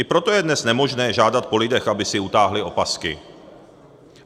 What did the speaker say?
I proto je dnes nemožné žádat po lidech, aby si utáhli opasky.